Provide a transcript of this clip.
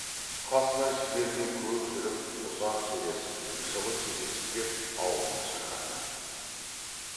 қасынан жібермей көп жүріп ұзақ сөйлесіп жылы сөйлесіп кеп аулына шақырды